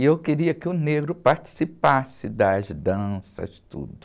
E eu queria que o negro participasse das danças, tudo.